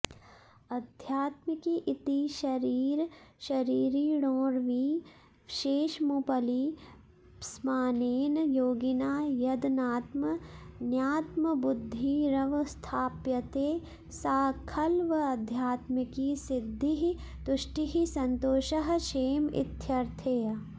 आध्यात्मिकी इति शरीरशरीरिणोर्विशेषमुपलिप्समानेन योगिना यदनात्मन्यात्मबुद्धिरवस्थाप्यते सा खल्वाध्यात्मिकी सिद्धिः तुष्टिः सन्तोषः क्षेम इत्यर्थः